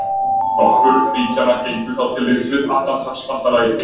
Nokkur ríkjanna gengu þá til liðs við Atlantshafsbandalagið.